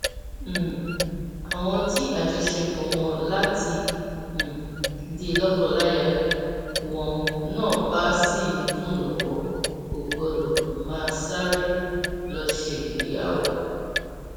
um àwọn tí àjọṣepọ láti um di lókoláya wọn náà bá sì ń dùn lọwọ kò gbọdọ máa sáré lọọ ṣègbéyàwó